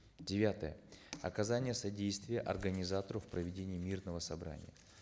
девятое оказание содействия организатору в проведении мирного собрания